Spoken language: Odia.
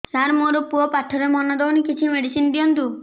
ସାର ମୋର ପୁଅ ପାଠରେ ମନ ଦଉନି କିଛି ମେଡିସିନ ଦିଅନ୍ତୁ